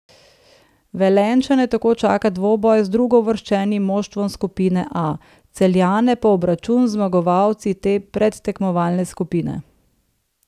Velenjčane tako čaka dvoboj z drugouvrščenim moštvom skupine A, Celjane pa obračun z zmagovalci te predtekmovalne skupine.